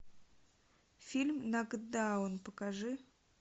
фильм нокдаун покажи